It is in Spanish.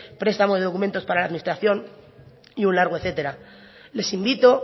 prestamos de documentos para la administración y un largo etcétera les invito